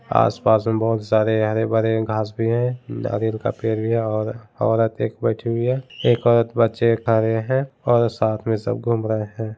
आस-पास में बहुत सारे हरे-भरे घास भी हैं नारियल का पेड़ भी है और औरत एक बैठी हुई है एक औरत-बच्चे खा रहे हैं और सब साथ में घूम रहे हैं।